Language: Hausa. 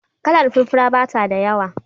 Kalar furfura bata da yawa.